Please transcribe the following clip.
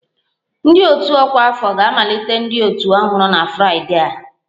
Ndị otu ọkwa afọ ga-amalite ndị otu ọhụrụ na Fraịdee a